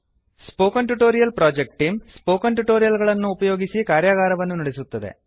spoken tutorial project team spoken tutorial ಗಳನ್ನು ಉಪಯೋಗಿಸಿಕಾರ್ಯಗಾರವನ್ನು ನಡೆಸುತ್ತದೆ